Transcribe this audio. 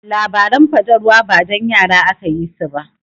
Labaran fatalwa ba dan yara aka yi su ba.